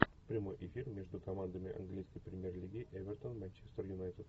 прямой эфир между командами английской премьер лиги эвертон манчестер юнайтед